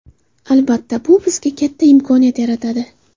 Albatta, bu bizga katta imkoniyat yaratadi.